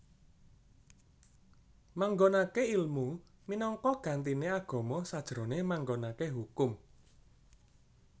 Manggonake ilmu minangka gantine agama sajrone manggonake hukum